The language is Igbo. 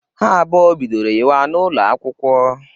Ha abụọ bidoro yịwa n'ụlọakwụkwọ.